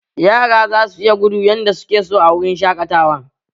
Yara za su iya gudu yardar suke so a wurin shaƙatawan